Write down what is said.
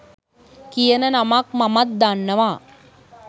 කියන නමක් මමත් දන්නව.